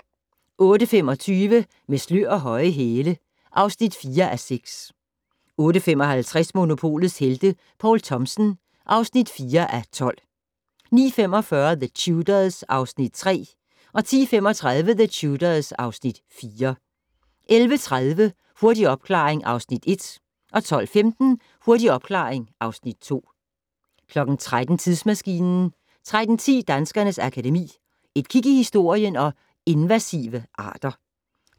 08:25: Med slør og høje hæle (4:6) 08:55: Monopolets Helte - Poul Thomsen (4:12) 09:45: The Tudors (Afs. 3) 10:35: The Tudors (Afs. 4) 11:30: Hurtig opklaring (Afs. 1) 12:15: Hurtig opklaring (Afs. 2) 13:00: Tidsmaskinen 13:10: Danskernes Akademi: Et kig i historien & Invasive arter